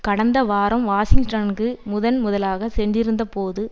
கடந்த வாரம் வாஷிங்டனுக்கு முதல் முதலாகச் சென்றிருந்தபோது